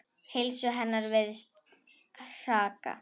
Heilsu hennar virðist hraka.